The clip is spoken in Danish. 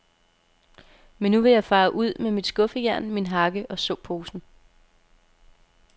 Men nu vil jeg fare ud med mit skuffejern, min hakke og såposen.